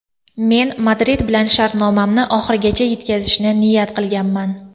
Men Madrid bilan shartnomamni oxirigacha yetkazishni niyat qilganman.